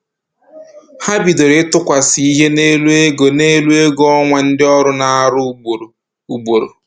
Ha bidoro ịtụkwasị ihe n'elu ego n'elu ego ọnwa ndị ọrụ na-arụ ugboro ugboro